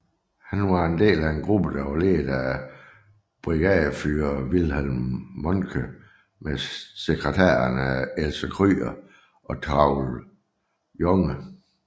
Han var en del af en gruppe ledet af Brigadeführer Wilhelm Mohnke med sekretærerne Else Krüger og Traudl Junge